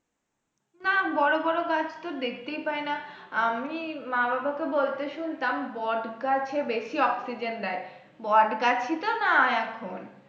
না বড় বড় গাছ তো দেখতেই পায় না, আমি মা বাবা কে বলতে শুনতাম বট গাছে বেশি অক্সিজেন দেয়, বট গাছ ই তো না এখন।